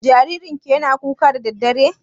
Jaririn ki yana kukan dare?